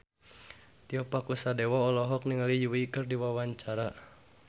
Tio Pakusadewo olohok ningali Yui keur diwawancara